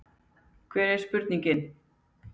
Hver er spurningin?